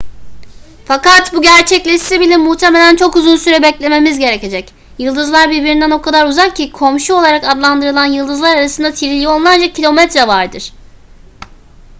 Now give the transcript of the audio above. fakat bu gerçekleşse bile muhtemelen çok uzun süre beklememiz gerekecek yıldızlar birbirinden o kadar uzak ki komşu olarak adlandırılan yıldızlar arasında trilyonlarca kilometre vardır